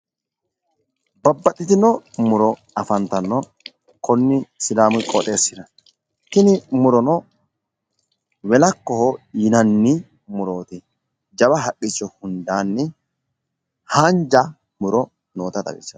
Babbaxxitino muro afantanno konne sidaamu qooxxeesira tini murono welakkoho yinanni murooti. jawa haqqicho hundanni hanja muro noota xawissanno.